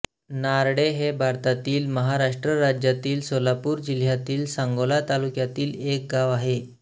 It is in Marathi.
नारळे हे भारतातील महाराष्ट्र राज्यातील सोलापूर जिल्ह्यातील सांगोला तालुक्यातील एक गाव आहे